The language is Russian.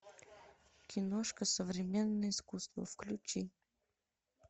киношка современное искусство включи